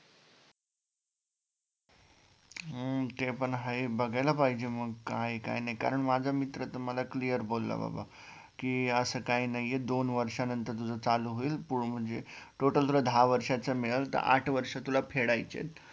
हम्म ते पण हाय बघायला पाहिजे मग काय काय नाय कारण माझा मित्र तर मला क्लिअरली बोला बाबा की असं काय नाहीये दोन वर्षानंतर तुझं चालू होईल म्हणजे total तुला दहा वर्षाचं मिळेल तर आठ वर्ष तुला फेडायचेत